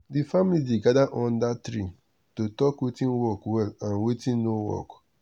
the family dey gather under tree to talk watin work well and watin watin no work.